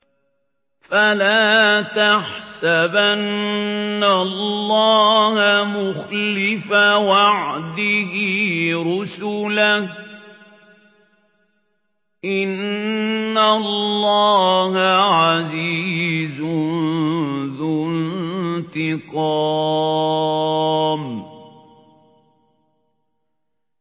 فَلَا تَحْسَبَنَّ اللَّهَ مُخْلِفَ وَعْدِهِ رُسُلَهُ ۗ إِنَّ اللَّهَ عَزِيزٌ ذُو انتِقَامٍ